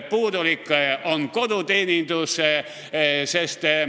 Puudulik on koduteenus.